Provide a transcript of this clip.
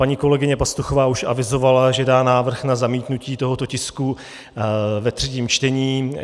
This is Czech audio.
Paní kolegyně Pastuchová už avizovala, že dá návrh na zamítnutí tohoto tisku ve třetím čtení.